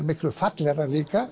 miklu fallegra líka